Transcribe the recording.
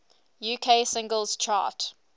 uk singles chart